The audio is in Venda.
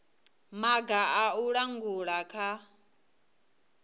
maga a u langula kha